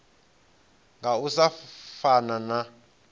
nga u sa fana na